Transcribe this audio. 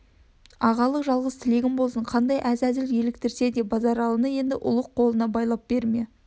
ағалық жалғыз тілегім болсын қандай әзәзіл еліктірсе де базаралыны енді ұлық қолына байлап берме